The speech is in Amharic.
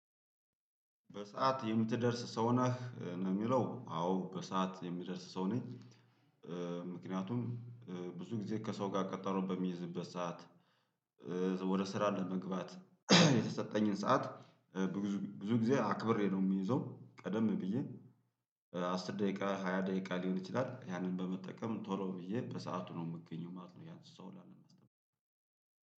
በሰአት የምትደርስ ሰው ነህ ነው ለሚለው አዎ በሰአት የምደርስ ሰው ነኝ። ምክንያቱም ብዙ ጊዜ ከሰው ጋር ቀጠሮ በምይዝበት ሰዓት ወደ ስራ ለመግባት የተሰጠኝን ሰዓት ብዙ ብዙ ጊዜ አክብሬ ነው የምይዘው ቀደም ብዬ አስር ደቂቃ ሃያ ደቂቃ ሊሆን ይችላል ያንን በመጠቀም ቶሎ ብዬ በሰአቱ ነው የምገኘው ማለት ነው። ያንስተው ላንስተው